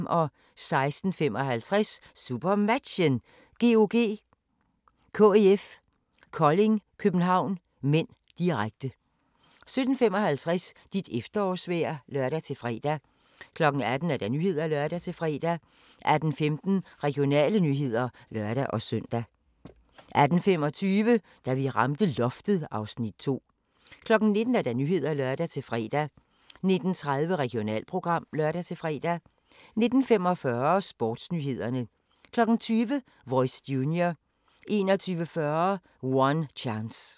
16:55: SuperMatchen: GOG – KIF Kolding-København (m), direkte 17:55: Dit efterårsvejr (lør-fre) 18:00: Nyhederne (lør-fre) 18:15: Regionale nyheder (lør-søn) 18:25: Da vi ramte loftet (Afs. 2) 19:00: Nyhederne (lør-fre) 19:30: Regionalprogram (lør-fre) 19:45: Sportsnyhederne 20:00: Voice Junior 21:40: One Chance